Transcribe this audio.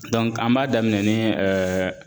an b'a daminɛ ni